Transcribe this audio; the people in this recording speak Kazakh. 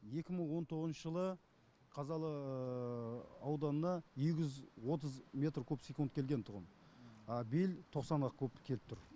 екі мың он тоғызыншы жылы қазалы ауданына екі жүз отыз метр куб секунд келгентұғын биыл тоқсан ақ куб келіп тұр